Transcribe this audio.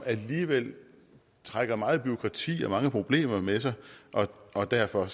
trækker meget bureaukrati og mange problemer med sig og derfor